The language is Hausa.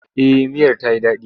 Eh miyar ta yi daɗi.